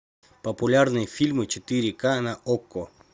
популярные фильмы четыре ка на окко